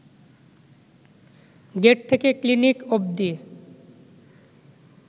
gate থেকে clinic অব্দি